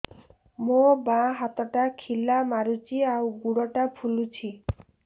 ମୋ ବାଆଁ ହାତଟା ଖିଲା ମାରୁଚି ଆଉ ଗୁଡ଼ ଟା ଫୁଲୁଚି